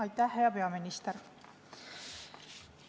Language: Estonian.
Aitäh, hea peaminister!